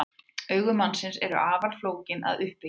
Augu mannsins eru afar flókin að uppbyggingu.